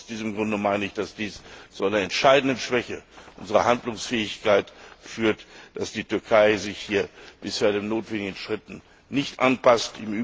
Aus diesem Grunde meine ich, dass es zu einer entscheidenden Schwäche unserer Handlungsfähigkeit führt, dass die Türkei sich bisher den notwendigen Schritten nicht anpasst.